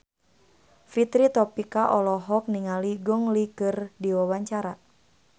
Fitri Tropika olohok ningali Gong Li keur diwawancara